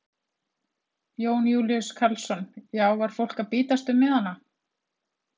Jón Júlíus Karlsson: Já var fólk að bítast um miðana?